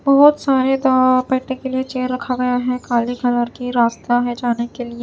बहोत सारे वहां बैठने के लिए चेयर रखा गया है काले कलर कि रास्ता है जाने के लिए--